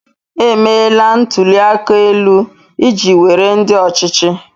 Emeela ntụli aka elu iji were ndị ọchịchị.